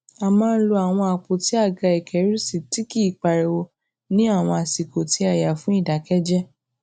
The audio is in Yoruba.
a máa ń lo àwọn àpótí àga ìkérùsí tí kì í pariwo ní àwọn àsìkò tí a yàn fún ìdákẹjẹẹ